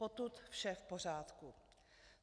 Potud vše v pořádku.